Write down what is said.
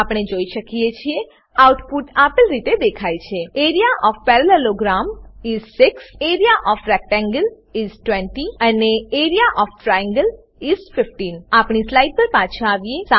આપણે જોઈ શકીએ છીએ કે આઉટપુટ આપેલ રીતે દેખાય છે area of parallelogram is 6 area of rectangle is 20 અને એઆરઇએ ઓએફ ટ્રાયેંગલ ઇસ 15 આપણી સ્લાઈડ પર પાછા આવીએ